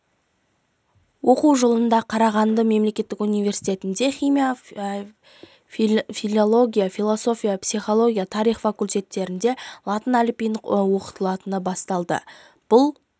оқу жылында қарағанды мемлекеттік университетінде химия филология философия психология тарих факультеттерінде латын әліпбиі оқытыла бастады бұл